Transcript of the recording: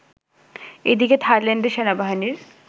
এদিকে থাইল্যান্ডে সেনাবাহিনীর